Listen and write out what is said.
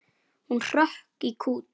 Hún hrökk í kút.